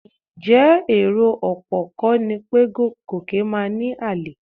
Ǹjẹ́ èrò ọ̀pọ̀ kọ́ ni pé Gòkè máa ní àlè?